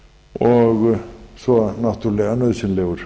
og svo náttúrlega nauðsynlegur